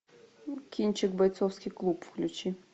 кинчик бойцовский клуб включи